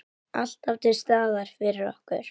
Alltaf til staðar fyrir okkur.